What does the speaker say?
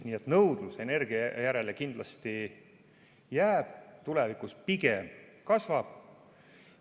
Nii et nõudlus energia järele kindlasti jääb, tulevikus see pigem kasvab.